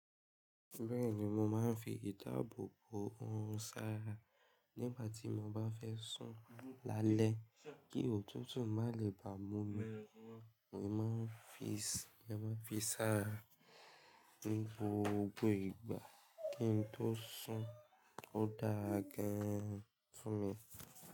Bẹ́ẹ̀ni mo máa ń fi ìdabo bo orun sára nígbà tí mo bá fẹ́ sùn lálẹ́ kí òtútù má lè bá mú mi. Mo máa ń fi i sára ní ibi gbogbo igba kí n tó sùn, ó dáa ra gan-an fún mi.